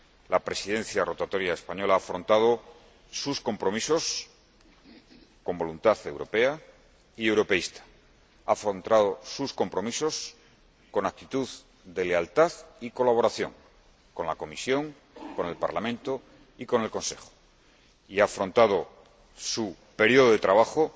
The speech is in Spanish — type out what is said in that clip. La Presidencia rotatoria española ha afrontado sus compromisos con voluntad europea y europeísta, ha afrontado sus compromisos con actitud de lealtad y colaboración con la Comisión, con el Parlamento y con el Consejo, y ha afrontado su período de